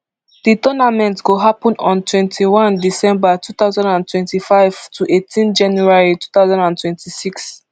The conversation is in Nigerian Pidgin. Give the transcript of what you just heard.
di tournament go happun on twenty-one december two thousand and twenty-five to eighteen january two thousand and twenty-six